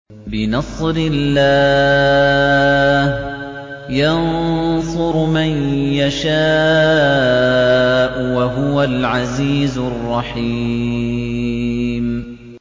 بِنَصْرِ اللَّهِ ۚ يَنصُرُ مَن يَشَاءُ ۖ وَهُوَ الْعَزِيزُ الرَّحِيمُ